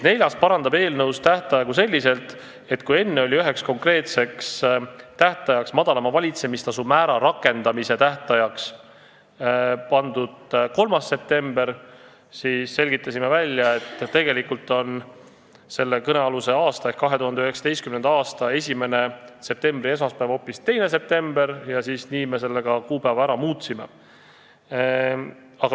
Neljas ettepanek – enne oli üheks konkreetseks tähtajaks, madalama valitsemistasu määra rakendamise tähtajaks pandud 3. september, aga me selgitasime välja, et tegelikult on selle kõnealuse aasta ehk 2019. aasta septembri esimene esmaspäev hoopis 2. september, ja nii me ka selle kuupäeva ära muutsime.